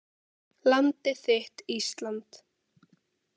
Landið þitt Ísland.